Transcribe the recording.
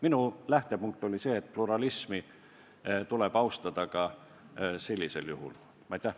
Minu lähtepunkt oli see, et pluralismi tuleb ka sellisel juhul austada.